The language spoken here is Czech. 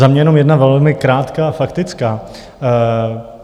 Za mě jenom jedna velmi krátká faktická.